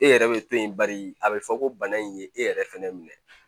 E yɛrɛ bɛ to yen bari a bɛ fɔ ko bana in ye e yɛrɛ fɛnɛ minɛ